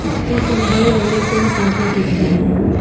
इस पिक में हरे भरे पेड़ पौधे दिख रहे हैं।